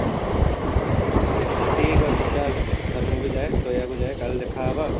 ଠିକ ଅଛି ଚାଲ ଏଥର ମୁଁ ବି ଯାଏ ଶୋଇବାକୁ ଯାଏ କାଲି ଦେଖା ହେବା ଆଉ